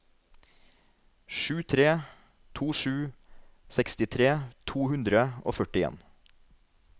sju tre to sju sekstitre to hundre og førtifem